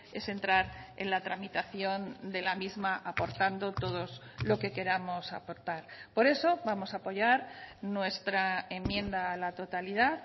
es entrar en la tramitación de la misma aportando todos lo que queramos aportar por eso vamos a apoyar nuestra enmienda a la totalidad